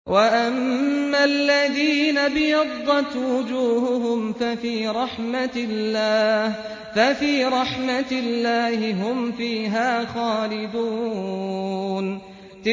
وَأَمَّا الَّذِينَ ابْيَضَّتْ وُجُوهُهُمْ فَفِي رَحْمَةِ اللَّهِ هُمْ فِيهَا خَالِدُونَ